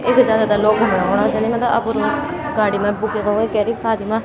इख जादातर लोग घुमणु औंना जन्दीन मलब अपर लोग गाडी मा बुकिंग उकिंग कैरिक सादी मा।